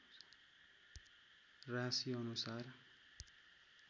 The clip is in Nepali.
राशिअनुसार